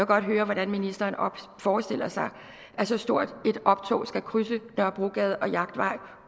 godt høre hvordan ministeren forestiller sig at så stort et optog skal krydse nørrebrogade og jagtvej